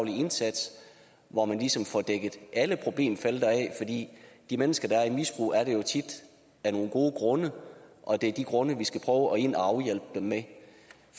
indsats hvor man ligesom får dækket alle problemfelter af de mennesker der er i et misbrug er det jo tit af nogle gode grunde og det er de grunde vi skal gå ind og hjælpe dem med